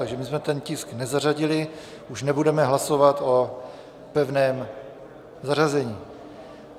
Takže my jsme ten tisk nezařadili, už nebudeme hlasovat o pevném zařazení.